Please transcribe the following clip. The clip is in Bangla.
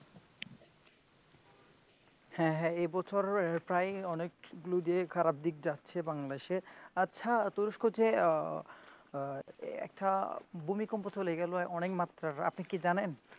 হ্যাঁ হ্যাঁ এই বছর প্রায় অনেকগুলো জায়গায় খারাপ দিক যাচ্ছে বাংলাদেশে আচ্ছা তুরস্ক যে আহ আহ একটা ভুমিকম্প চলে গেল অনেক মাত্রার আপনি কি জানেন?